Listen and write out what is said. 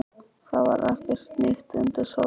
Það var ekkert nýtt undir sólinni.